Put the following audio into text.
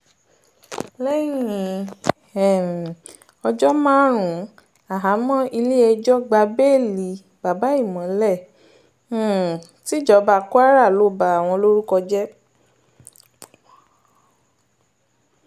lẹ́yìn um ọjọ́ márùn-ún háàhámọ́ ilé-ẹjọ́ gba béèlì babàìmọ́lẹ̀ um tìjọba kwara ló ba àwọn lórúkọ jẹ́